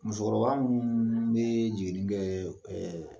Musokɔrɔba minnu bɛ jiginni kɛ ɛɛ